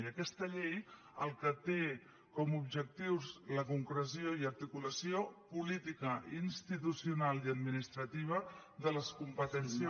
i aquesta llei el que té com a objectius la concreció i articulació política institucional i administrativa de les competències